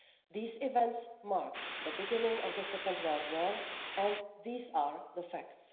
These events marked the beginning of the Second World War and these are the facts.